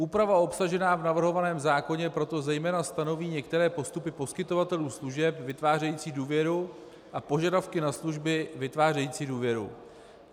Úprava obsažená v navrhovaném zákoně proto zejména stanoví některé postupy poskytovatelů služeb vytvářející důvěru a požadavky na služby vytvářející důvěru.